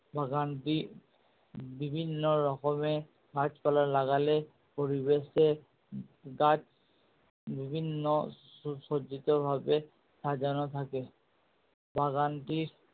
বাগানটি বিভিন্ন রকমের গাছ পালা লাগালে পরিবেশে গাছ বিভিন্ন সুসজ্জিত ভাবে সাজানো থাকে। বাগানটির